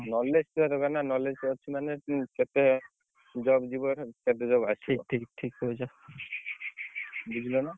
Knowledge ଥିବା ଦରକାର ନା knowledge ଟିକେ ଅଛି ମାନେ ତୁ କେତେ job ଯିବ କେତେ ଆସିବ ବୁଝିଲ ନା?